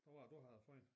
Hvad var det du havde for én